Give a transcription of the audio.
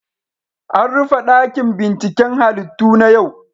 An rufe dakin binciken halittu na yau.